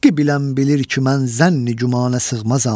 Həqqi bilən bilir ki mən zənn-i gümanə sığmazam.